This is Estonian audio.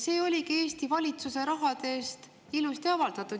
See oligi Eesti valitsuse raha eest ilusasti avaldatud.